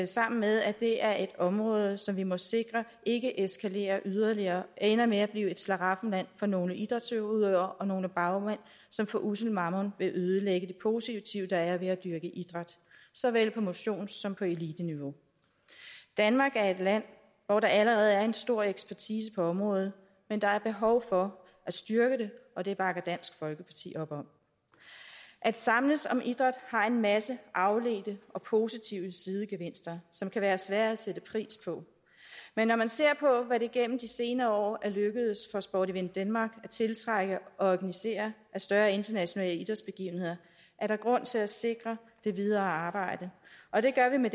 sammen med at det er et område som vi må sikre ikke eskalerer yderligere og ender med at blive et slaraffenland for nogle idrætsudøvere og nogle bagmænd som for ussel mammon vil ødelægge det positive der er ved at dyrke idræt såvel på motions som på eliteniveau danmark er et land hvor der allerede er en stor ekspertise på området men der er behov for at styrke det og det bakker dansk folkeparti op at samles om idræt har en masse afledte og positive sidegevinster som kan være svære at sætte pris på men når man ser på hvad det igennem de senere år er lykkedes for sport event denmark at tiltrække og organisere af større internationale idrætsbegivenheder er der grund til at sikre det videre arbejde og det gør vi med